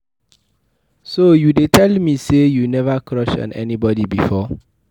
So you dey tell me say you never crush on anybody before.